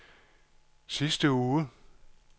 sidste uge